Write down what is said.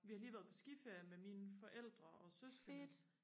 vi har lige været på skiferie med mine forældre og søskende